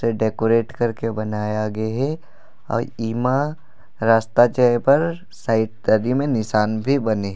जे डेकोरेट करके बनया गे हे और ई माँ रास्ता जाय बर साइड तरी में निशान भी बने हे।